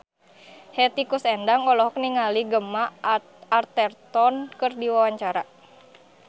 Hetty Koes Endang olohok ningali Gemma Arterton keur diwawancara